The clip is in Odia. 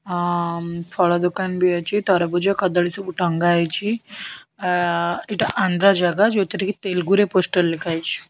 ଆଁ ମ ଫଳ ଦୋକାନ ବି ଅଛି ତରଭୁଜ କଦଳୀ ସବୁ ଟଙ୍ଗା ହେଇଛି ଆ ଏଇଟା ଆନ୍ଦ୍ରା ଜାଗା ଯଉଥିରେକି ତେଲୁଗୁରେ ପୋଷ୍ଟର ଲେଖା ହୋଇଚି।